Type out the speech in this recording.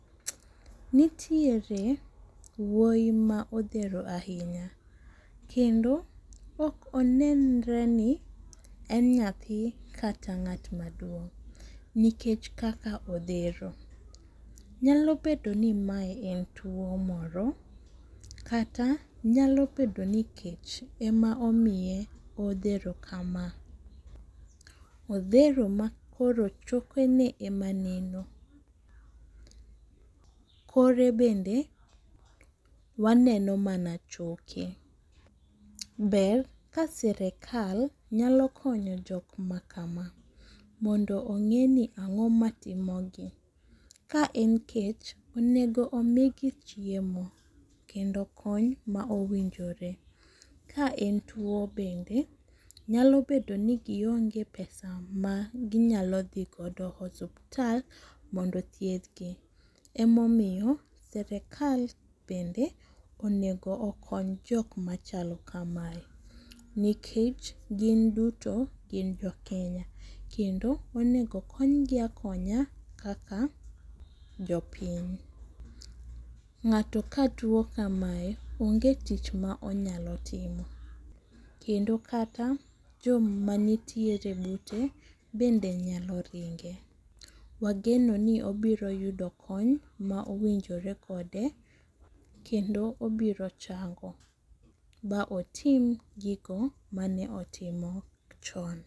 Nitiere wuoyi ma odhero ahinya kendo ok onenre ni en nyathi kata ng'at maduong' nikech kaka odhero, nyalo bedo ni mae en tuwo moro kata nyalo bedo ni kech ema omiye odhero kama, odhero ma koro chokene ema neno. Kore bende waneno mana choke, ber ka sirikal nyalo konyo jok ma kama, mondo ong'eni ang'o matimo gi. Ka en kech, onego omigi chiemo kendo kony ma owinjore, ka en tuwo bende ,nyalo bedo ni gionge pesa maginyalo dhi godo osuptal mondo othiedhgi, emomiyo sirikal bende onego okony jok machalo kamae, nikech gin duto gin Jokenya, kendo onego okony gi akonya kaka jopiny. Ng'ato ka tuwo kamae, onge tich ma onyalo timo, kedo kata joma nitiere bute bende nyalo ringe, wageno ni obiro yudo kony ma owinjore kode kendo obiro chango, ba otim gigo mane otimo chon.